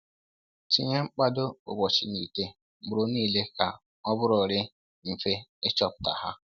Tinye mkpado ụbọchị n’ite mkpụrụ niile ka o bụrụrịrị mfe ịchọpụta ha